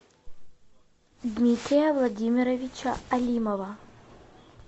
дмитрия владимировича алимова